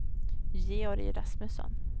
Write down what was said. Georg Rasmusson